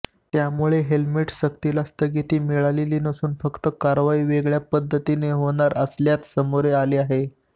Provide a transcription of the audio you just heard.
त्यामुळे हेल्मेटसक्तीला स्थगिती मिळाली नसून फक्त कारवाई वेगळ्या पद्धतीने होणार असल्याते समोर आले आहे